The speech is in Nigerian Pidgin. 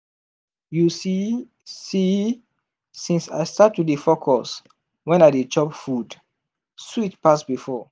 you see see since i start to dey focus when i dey chop food sweet pass before.